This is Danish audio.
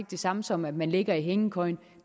det samme som at man ligger i hængekøjen